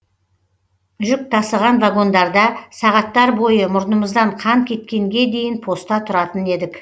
жүк тасыған вагондарда сағаттар бойы мұрнымыздан қан кеткенге дейін поста тұратын едік